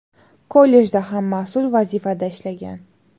Kollejda ham mas’ul vazifada ishlagan.